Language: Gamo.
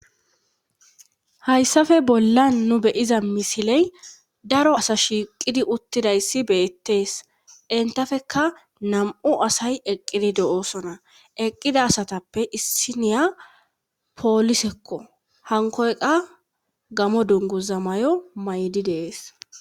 Hayssafe bolla nu beyiza misiley daro asa shiiqidi uttidayssi beettees intafeka nam'u asay eqqidi do'oosona eqqida asatappe issiniya poolisekko hankoyqa gamo dunguza may'o maydi dees.